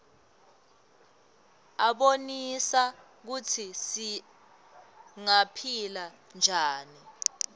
abonisa kutsi singaphila njani